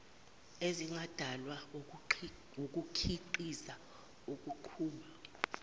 ezingadalwa wukukhiqiza ukuqhuba